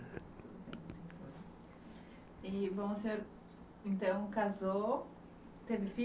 Bem o senhor então casou, teve filhos